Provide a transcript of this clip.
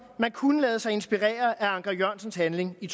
man kunne lade sig inspirere af anker jørgensens handling i